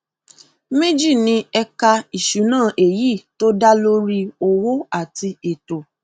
méjì ni ẹka ìṣúná èyí tó dá lórí owó àti ètò